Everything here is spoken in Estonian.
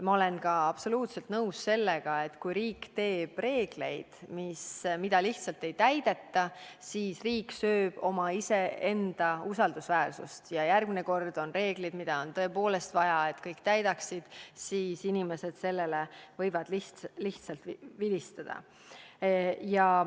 Ma olen absoluutselt nõus ka sellega, et kui riik teeb reegleid, mida lihtsalt ei täideta, siis riik sööb iseenda usaldusväärsust, nii et kui järgmine kord on reeglid, mida tõepoolest on vaja kõigil täita, siis võivad inimesed neile lihtsalt vilistada.